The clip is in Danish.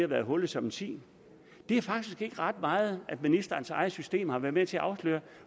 været hullet som en si det er faktisk ikke ret meget ministerens eget system har været med til at afsløre